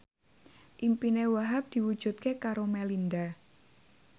impine Wahhab diwujudke karo Melinda